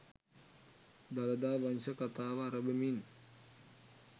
Dalada Vamsa Katha අරඹමින්